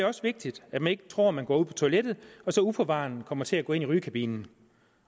også vigtigt at man ikke tror man på toilettet og så uforvarende kommer til at gå ind i en rygekabine